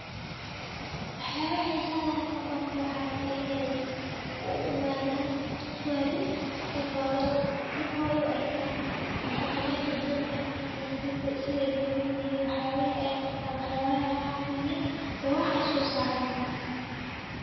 Waxabaha xiisa leh on halkan ku arko waxay tahay inay uu imadan tourist sifoy u arkan hab dhaqameedka dadkan ama siday kunolyihim waxyabihi ay qabtan iyo waxbihi ay caan kuyihin iyo waxay soo saran ba